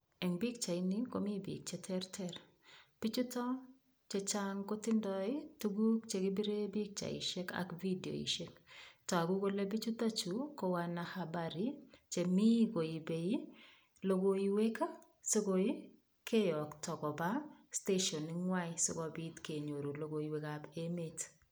Eng' pikchaini komi biik cheterter bichuto chechang' kotindoi tukuk chekipire pikchaishek ak vidioishek toku kole bichutokchu ko wanahabari chemi koibei lokoiwek sikoi keyokto koba steshoning' ng'wai sikobit kenyoru lokoiwekab emet